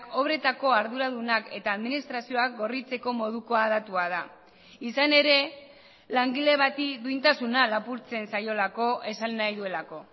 obretako arduradunak eta administrazioak gorritzeko moduko datua da izan ere langile bati duintasuna lapurtzen zaiolako esan nahi duelako